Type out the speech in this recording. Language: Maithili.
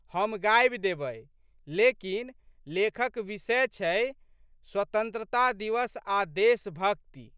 हम गाबि देबै। लेकिन, लेखक विषय छै स्ववतंत्रता दिवस आ' देशभक्ति।